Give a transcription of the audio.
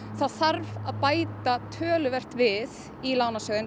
það þarf að bæta töluvert við í lánasjóðinn